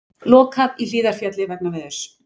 Lokað í Hlíðarfjalli vegna veðurs